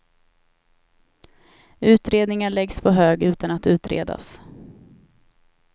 Utredningar läggs på hög utan att utredas.